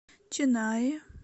ченнаи